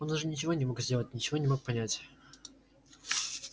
он уже ничего не мог сделать ничего не мог понять